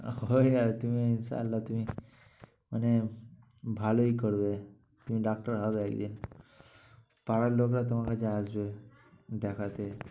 আহ ঐ আর তুমি চাইলে তুমি মানে ভালোই করবে, তুমি ডাক্তার হবে একদিন। পাড়ার লোকরা তোমার কাছে আসবে দেখাতে।